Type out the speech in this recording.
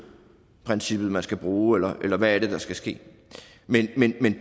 princippet man skal bruge eller hvad er det der skal ske men